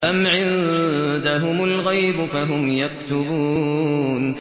أَمْ عِندَهُمُ الْغَيْبُ فَهُمْ يَكْتُبُونَ